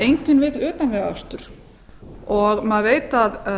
enginn vill utanvegaakstur og maður veit að